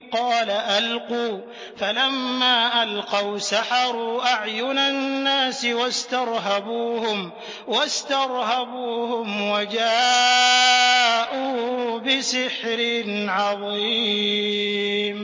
قَالَ أَلْقُوا ۖ فَلَمَّا أَلْقَوْا سَحَرُوا أَعْيُنَ النَّاسِ وَاسْتَرْهَبُوهُمْ وَجَاءُوا بِسِحْرٍ عَظِيمٍ